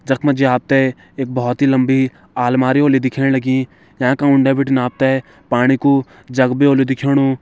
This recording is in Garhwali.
जख मजी आपते एक बोहोत ही लम्बी आलमारी होली दिखेण लगीं। यां क उंडे बिटिन आपते पाणि कू जग बि ओलू दिखेणु।